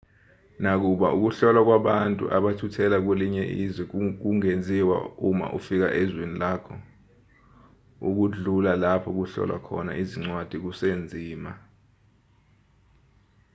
nakuba ukuhlolwa kwabantu abathuthela kwelinye izwe kungenziwa uma ufika ezweni lakho ukudlula lapho kuhlolwa khona izincwadi kusenzima